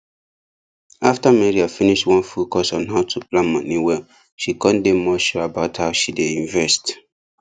after maria finish one full course on how to plan money well she come dey more sure about how she dey invest